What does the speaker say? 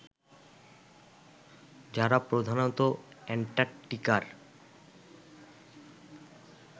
যারা প্রধানত অ্যান্টার্কটিকার